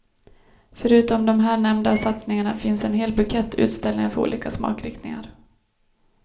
Förutom de här nämnda satsningarna finns en hel bukett utställningar för olika smakriktningar.